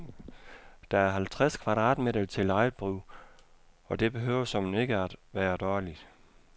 Der er halvtreds kvadratmeter til eget brug, og det behøver såmænd ikke være dårligt.